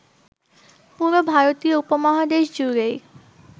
পুরো ভারতীয় উপমহাদেশ জুড়েই